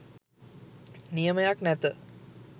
නියමයක් නැත.